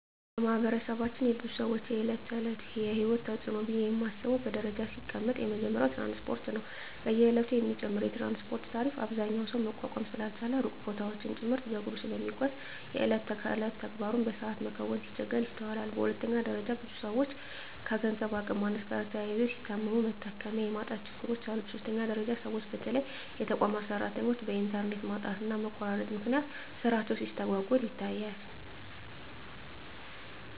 በማህበረሰባችን የብዙ ሰወች የእለት ተእለት የሂወት ተጽኖ ነው ብየ ማስበው በደረጃ ሲቀመጥ የመጀመሪያው ትራንስፓርት ነው። በየእለቱ የሚጨምረው የትራንስፓርት ታሪፍ አብዛኛው ሰው መቋቋም ስላልቻለ ሩቅ ቦታወችን ጭምርት በእግሩ ስለሚጓዝ የየእለት ተግባሩን በሰአት መከወን ሲቸገር ይስተዋላል። በሁለተኛ ደረጃ ብዙ ሰወች ከገንዘብ አቅም ማነስ ጋር ተያይዞ ሲታመሙ መታከሚያ የማጣት ችግሮች አሉ። በሶስተኛ ደረጃ ሰወች በተለይ የተቋማት ሰራተኞች በእንተርኔት ማጣትና መቆራረጥ ምክንያት ስራቸው ሲስተጓጎል ይታያል።